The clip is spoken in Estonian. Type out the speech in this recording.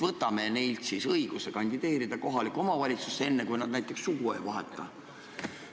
Võtame talt siis õiguse kandideerida kohalikku omavalitsusse, enne kui ta näiteks sugu ei vaheta.